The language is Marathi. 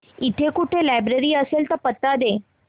इकडे कुठे लायब्रेरी असेल तर पत्ता दे